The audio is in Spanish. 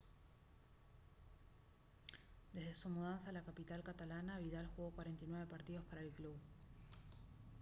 desde su mudanza a la capital catalana vidal jugó 49 partidos para el club